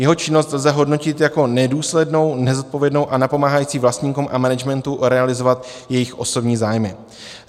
Jeho činnost lze hodnotit jako nedůslednou, nezodpovědnou a napomáhající vlastníkům a managementu realizovat jejich osobní zájmy.